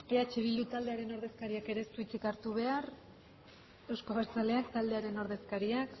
eh bildu taldearen ordezkariak ere ez du hitzik hartu behar euzko abertzaleak taldearen ordezkaria